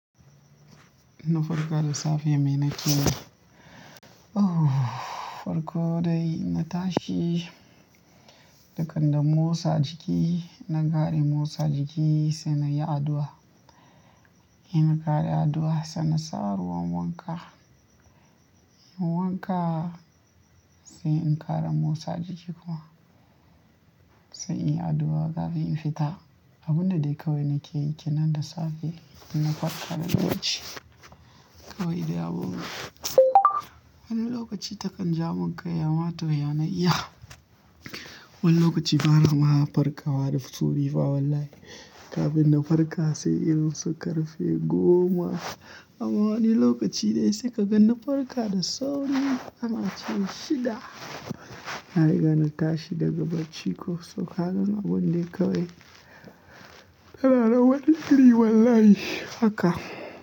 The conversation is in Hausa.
Na farka da safe me na ci ne? Farko dai na tashi, dakan na motsa jiki, na ƙare motsa jiki sai na yi addu'a. In na kare addu'a sai na sa ruwan wanka. Wanka sai in ƙara motsa jiki kuma sai in yi addu'a kafin in fita. Abun da dai kawai na ke yi kenan da safe idan na farka da lokaci. Kawai dai abubun. Wani lokaci takan ja mun kai ama toh ya na iya. Wani lokaci bana ma farka wa da sauri fa wallahi. Kafin na farka sai irin su karfe goma. Ama wani lokaci dai sai ka gan na farka da sauri har na ce shida na riga na tashi daga bacci ko so ka gani abun dai kawai tana nan wani iri wallahi haka.